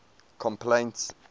complaints